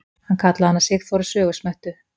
Hann kallaði hana Sigþóru sögusmettu.